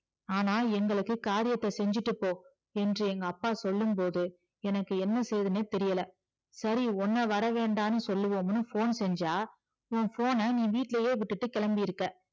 ஆனா எங்களுக்கு காரியத்தை செஞ்சிட்டு போ என்று எங்க அப்பா சொல்லும்போது எனக்கு என்ன செய்யறதுனே தெரியல சரி உன்ன வரவேண்டானு சொல்ல phone செஞ்சா உன் phone ன நீ வீட்டுலையே விட்டுட்டு கிளம்பிருக்க